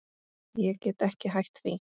Ég get ekki hætt því.